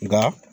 Nga